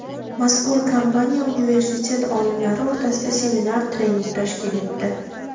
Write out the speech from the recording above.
Mazkur kompaniya universitet olimlari o‘rtasida seminar-trening tashkil etdi.